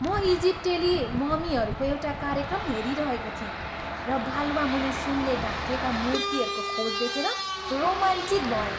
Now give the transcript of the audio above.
म इजिप्टेली ममीहरूको एउटा कार्यक्रम हेरिरहेको थिएँ र बालुवा मुनि सुनले ढाकिएका मूर्तिहरूको खोज देखेर रोमाञ्चित भएँ।